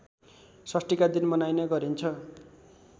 षष्ठीका दिन मनाइने गरिन्छ